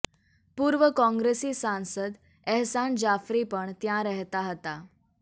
પૂર્વ કોંગ્રેસી સાંસદ એહસાન જાફરી પણ ત્યા રહેતા હતા